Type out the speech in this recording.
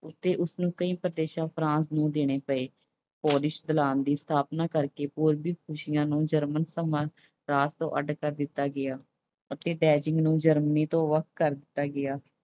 ਉੱਤੇ ਇਸਨੂੰ ਕਈ ਪ੍ਰਦੇਸ਼ France ਨੂੰ ਦੇਣੇ ਪਏ। ਦੀ ਸਥਾਪਨਾ ਕਰਕੇ German France ਤੋਂ ਅੱਡ ਕਰ ਦਿੱਤਾ ਗਿਆ ਅਤੇ Germany ਤੋਂ ਵੱਖ ਕਰ ਦਿੱਤਾ ਗਿਆ।